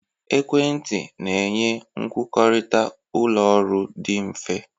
Ekwentị na-enye nkwukọrịta ụlọ ọrụ dị mfe.